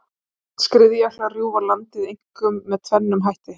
Skriðjöklar rjúfa landið einkum með tvennum hætti.